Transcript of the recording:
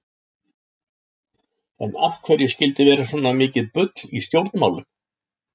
En af hverju skyldi vera svona mikið bull í stjórnmálum?